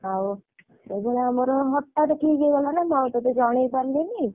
ଆଉ ଏବେ ଆମର ହଠାତ ଠିକ ହେଇଗଲାନାଁ ମୁଁ ଆଉ ଟଟେ ଜଣେଇ ପାରିଲିନି।